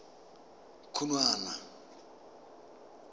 khunwana